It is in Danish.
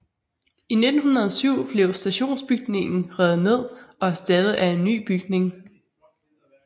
I 1907 blev stationsbygningen revet ned og erstattet af en ny bygning